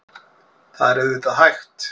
Það er auðvitað hægt.